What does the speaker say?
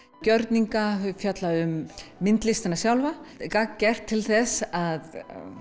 gjörninga þau fjalla um myndlistina sjálfa gagngert til þess að